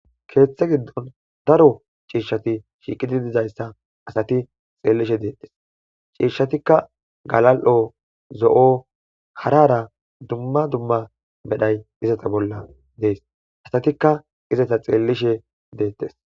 keeththe giddon daro ciishshati shiiqidi dizayssa asati xeellishe deettes ciishshatikka galal'o zo'o harara dumma dumma medhay izata bolla dees asatikka izata xeellishe deettes.